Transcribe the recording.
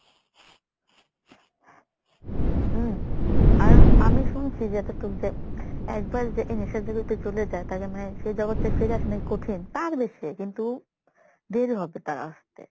হম আর আমি শুনছি যে এতটুক যে একবার যে এই নেশার জগতে চলে যায় তাকে মানে সেই জগৎ থেকে ফিরে আসা নাকি কঠিন। পারবে সে কিন্তু দের হবে তার আসতে।